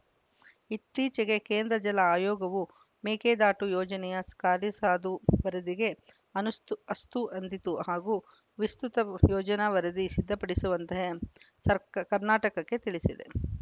ಇತ್ತೀಚೆಗೆ ಕೇಂದ್ರ ಜಲ ಆಯೋಗವು ಮೇಕೆದಾಟು ಯೋಜನೆಯ ಸ್ ಕಾರ್ಯಸಾಧು ವರದಿಗೆ ಅನಸ್ತು ಅಸ್ತು ಎಂದಿತ್ತು ಹಾಗೂ ವಿಸ್ತೃತ ಯೋಜನಾ ವರದಿ ಸಿದ್ಧಪಡಿಸುವಂತೆ ಸರಕ್ ಕರ್ನಾಟಕಕ್ಕೆ ತಿಳಿಸಿತ್ತು